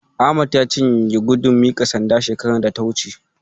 Ahmad ya cinye gudun miƙa sanda shekarar da ta wuce.